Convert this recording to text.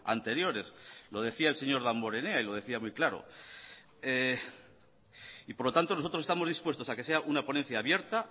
anteriores lo decía el señor damborenea y lo decía muy claro y por lo tanto nosotros estamos dispuestos a que sea una ponencia abierta